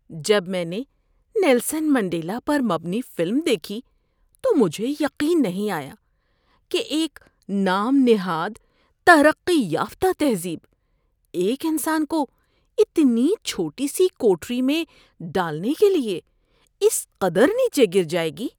جب میں نے نیلسن منڈیلا پر مبنی فلم دیکھی تو مجھے یقین نہیں آیا کہ ایک نام نہاد ترقی یافتہ تہذیب ایک انسان کو اتنی چھوٹی سی کوٹھری میں ڈالنے کے لیے اس قدر نیچے گر جائے گی۔